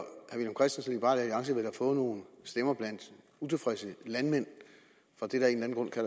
få nogle stemmer blandt utilfredse landmænd fra det der af